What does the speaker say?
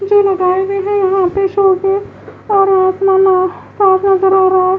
जो लगाए हुए हैं यहाँ पे शो के और --